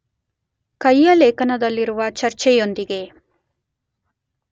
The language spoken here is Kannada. ಕೈಯ ಲೇಖನದಲ್ಲಿರುವ ಚರ್ಚೆಯೊಂದಿಗೆ